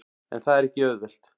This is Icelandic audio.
En það er ekki auðvelt.